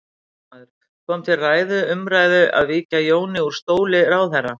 Fréttamaður: Kom til ræðu, umræðu að víkja Jóni úr stóli ráðherra?